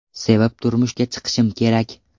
Sevib turmushga chiqishim kerak.